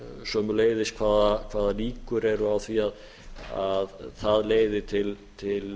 sömuleiðis hvaða líkur eru á því að það leiði til